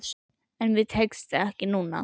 En mér tekst það ekki núna.